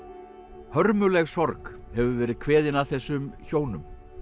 hörmuleg sorg hefur verið kveðin að þessum hjónum